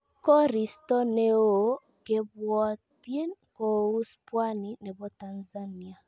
Koristo ne oo kebwatyin kouus pwani nebo Tanzania